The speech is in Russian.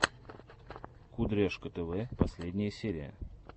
кудряшка тв последняя серия